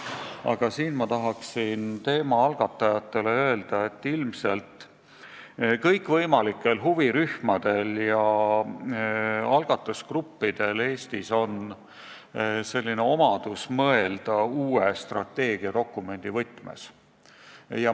Aga ma tahaksin teemaalgatajatele öelda, et kõikvõimalikel huvirühmadel ja algatusgruppidel Eestis on omadus mõelda uue strateegiadokumendi võtmes.